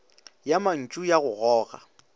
ya mantšu ya go goga